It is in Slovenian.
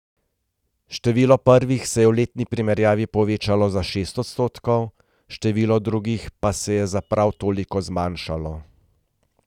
Število prvih se je v letni primerjavi povečalo za šest odstotkov, število drugih pa se je za prav toliko zmanjšalo.